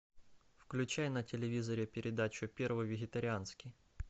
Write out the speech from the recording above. включай на телевизоре передачу первый вегетарианский